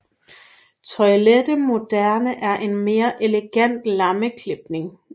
Toilette moderne er en mere elegant lammeklipning